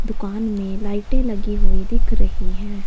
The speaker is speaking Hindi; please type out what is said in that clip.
दुकान में लाइटे लगी हुई दिख रही हैं।